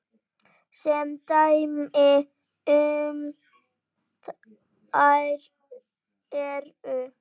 Sem dæmi um þær eru